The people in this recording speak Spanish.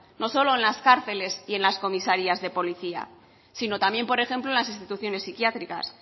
no solo en la cárceles y en las comisarías de policía sino también por ejemplo en las instituciones psiquiátricas